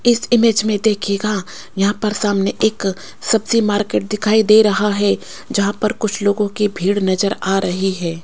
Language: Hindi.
इस इमेज में देखिएगा यहां पर सामने एक सब्जी मार्केट दिखाई दे रहा है जहां पर कुछ लोगों की भीड़ नजर आ रही है।